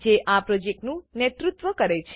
જે આ પ્રોજેક્ટનું નેતુત્વ કરે છે